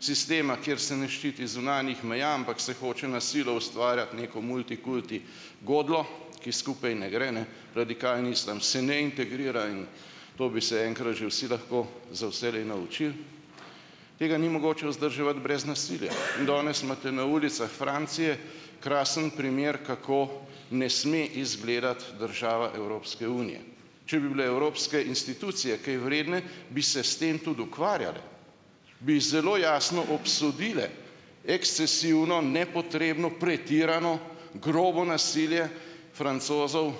sistema, kjer se ne ščiti zunanjih meja, ampak se hoče na silo ustvarjati neko multikulti godljo, ki skupaj ne gre, ne. Radikalni islam se ne integrira in to bi se enkrat že vsi lahko za vselej naučili. Tega ni mogoče vzdrževati brez nasilja in danes imate na ulicah Francije krasen primer, kako ne sme izgledati država Evropske unije. Če bi bile evropske institucije kaj vredne, bi se s tem tudi ukvarjale, bi zelo jasno obsodile ekscesivno nepotrebno pretirano grobo nasilje Francozov,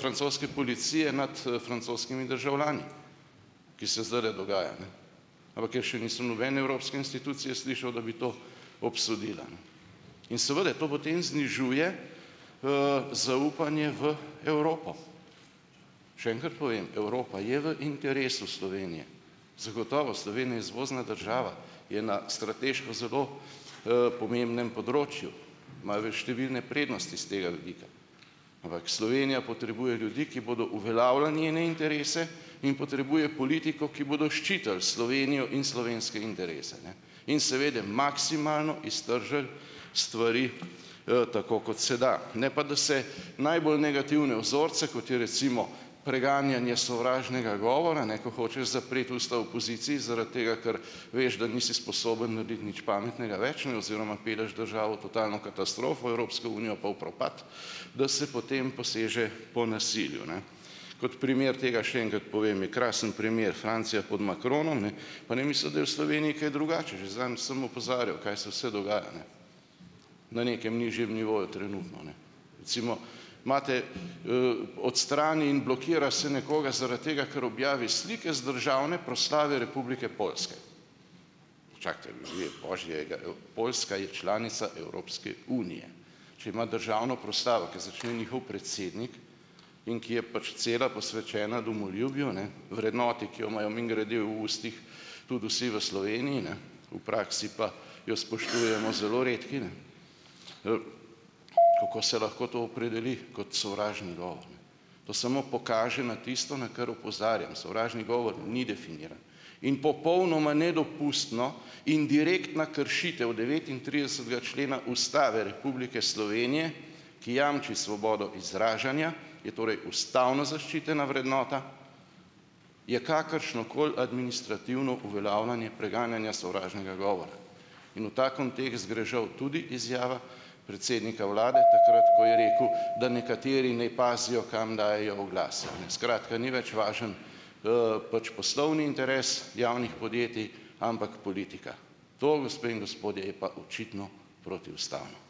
francoske policije nad francoskimi državljani, ki se zdajle dogaja. Ampak jaz še nisem nobene evropske institucije slišal, da bi to obsodila, ne. In seveda to potem znižuje zaupanje v Evropo. Še enkrat povem, Evropa je v interesu Slovenije, zagotovo, Slovenija izvozna država, je na strateško zelo, pomembnem področju, imajo v številne prednosti s tega vidika. Ampak Slovenija potrebuje ljudi, ki bodo uveljavljali njene interese in potrebuje politiko, ki bodo ščitili Slovenijo in slovenske interese, ne, in seveda maksimalno iztržili stvari, tako kot se da, ne pa da se najbolj negativne vzorce, kot je recimo preganjanje sovražnega govora, ne, ko hočeš zapreti usta opoziciji, zaradi tega, ker veš, da nisi sposoben narediti nič pametnega več, ne, oziroma pelješ državo v totalno katastrofo, Evropsko unijo pa v propad, da se potem poseže po nasilju, ne. Kot primer tega še enkrat povem, je krasen primer Francija pod Macronom, ne, pa ne misliti, da je v Sloveniji kaj drugače, že zadnjič sem opozarjal, kaj se vse dogaja, ne, na nekem nižjem nivoju trenutno, ne. Recimo imate odstrani in blokira se nekoga zaradi tega, ker objavi slike z državne proslave Republike Poljske. Čakajte, ljudje božji, glejte, Poljska je članica Evropske unije. Če ima državno proslavo, kjer začne njihov predsednik in ki je pač cela posvečena domoljubju, ne, vrednoti, ki jo imajo mimogrede v ustih tudi vsi v Sloveniji, ne, v praksi pa jo spoštujemo zelo redki, ne, kako se lahko to opredeli kot sovražni govor. To samo pokaže na tisto, na kar opozarjam. Sovražni govor ni definiran in popolnoma nedopustno in direktna kršitev devetintridesetega člena Ustave Republike Slovenije, ki jamči svobodo izražanja, je torej ustavno zaščitena vrednota, je kakršnokoli administrativno uveljavljanje preganjanja sovražnega govora in v ta kontekst gre žal tudi izjava predsednika vlade takrat, ko je rekel, da nekateri naj pazijo, kam dajejo oglase, a ne. Skratka, ni več važen poslovni interes javnih podjetij, ampak politika. To, gospe in gospodje, je pa očitno protiustavno.